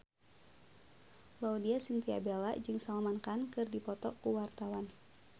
Laudya Chintya Bella jeung Salman Khan keur dipoto ku wartawan